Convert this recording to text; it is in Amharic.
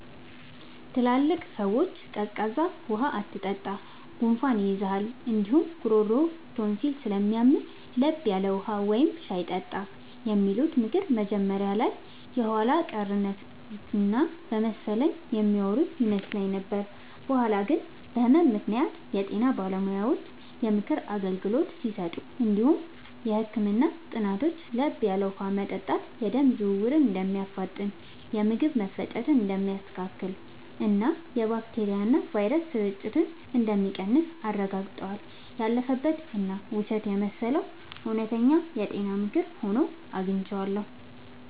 ትላልቅ ሰዎች “ቀዝቃዛ ውሃ አትጠጣ፣ ጉንፋን ይይዝሃል እንዲሁም ጉሮሮህን ቶንሲል ስለሚያምህ፤ ለብ ያለ ውሃ ወይም ሻይ ጠጣ” የሚሉት ምክር መጀመሪያ ላይ የኋላ ቀርነት እና በመሰለኝ የሚያወሩ ይመስል ነበር። በኋላ ግን በህመም ምክንያት የጤና ባለሙያዎች የምክር አገልግሎት ሲሰጡ እንዲሁም የህክምና ጥናቶች ለብ ያለ ውሃ መጠጣት የደም ዝውውርን እንደሚያፋጥን፣ የምግብ መፈጨትን እንደሚያስተካክልና የባክቴሪያና ቫይረስ ስርጭትን እንደሚቀንስ አረጋግጠዋል። ያለፈበት እና ውሸት የመሰለው እውነተኛ የጤና ምክር ሆኖ አግኝቼዋለሁ።